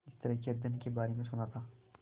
इस तरह के अध्ययन के बारे में सुना था